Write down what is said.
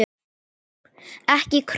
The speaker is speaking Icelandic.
Ekki krónu!